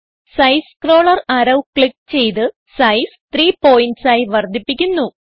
size scroller arrow click ചെയ്ത് size 30 PTS ആയി വർദ്ധിപ്പിക്കുന്നു